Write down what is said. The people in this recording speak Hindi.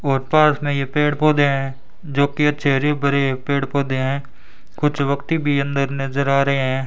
और पार्क में ये पेड पौधे हैं जो की अच्छे हरे भरे पेड पौधे हैं कुछ वक्ति भी अंदर नजर आ रहे हैं।